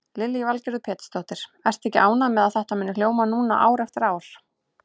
Lillý Valgerður Pétursdóttir: Ertu ekki ánægð með að þetta muni hljóma núna ár eftir ár?